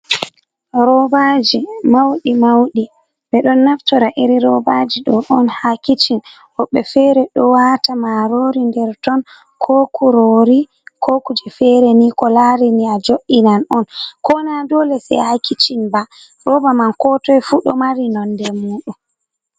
Robaaji mauɗi-mauɗi, ɓe ɗon naftora iri robaji ɗo on haa kishin, woɓɓe fere ɗo waata marori nder ton, ko kurori, ko kuje fere ni ko lari ni a jo’inan on, ko na dole sai haa kishin ba, roba man ko toi fu do mari nonde muɗum.